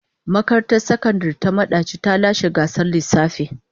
Makarantar Sakandare ta Madaci ta lashe gasar lissafi.